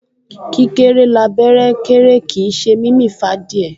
Kíkéré l'abẹ́rẹ́ kéré kìí ṣe mímì f'ádìẹ